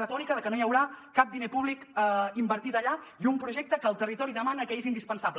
retòrica de que no hi haurà cap diner públic invertit allà i un projecte que el territori demana que és indispensable